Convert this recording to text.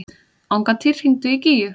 Angantýr, hringdu í Gígju.